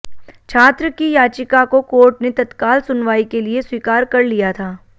छात्र की याचिका को कोर्ट ने तत्काल सुनवाई के लिए स्वीकार कर लिया था